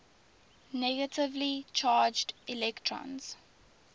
negatively charged electrons